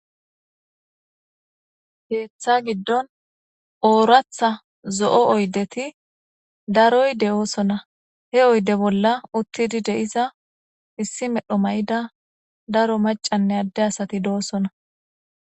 Keeththa giddon ooraththa zo'o oydeti daroy de'oosona he oyde bolla uttidi de'iza issi medhdho mayida daro macanne adde asati doosona